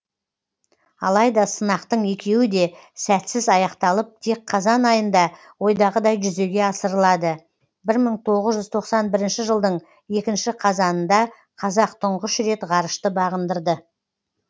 алайда сынақтың екеуі де сәтсіз аяқталып тек қазан айында ойдағыдай жүзеге асырылады бір мың тоғыз жүз тоқсан бірінші жылдың екінші қазанында қазақ тұңғыш рет ғарышты бағындырды